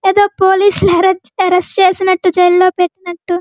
అదో పోలీస్ లు హా అరెస్ట్ చేసినట్టు జైల్లో లో పెట్టినట్టు --